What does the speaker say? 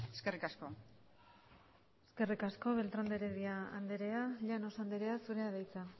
eskerrik asko eskerrik asko beltrán de herdia andrea llanos andrea zurea da hitza